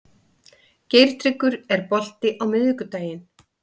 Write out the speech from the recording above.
Geirtryggur, er bolti á miðvikudaginn?